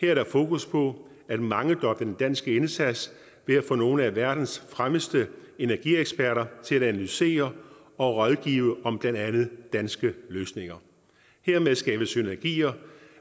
er der fokus på at mangedoble den danske indsats ved at få nogle af verdens fremmeste energieksperter til at analysere og rådgive om blandt andet danske løsninger hermed skabes synergier